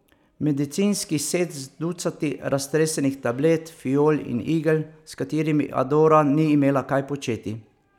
Medicinski set z ducati raztresenih tablet, fiol in igel, s katerimi Adora ni imela kaj početi.